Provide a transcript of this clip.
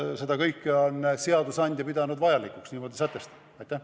Seda kõike on seadusandja pidanud vajalikuks niimoodi sätestada.